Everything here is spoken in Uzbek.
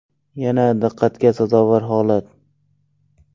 Yana diqqatga sazovor holat.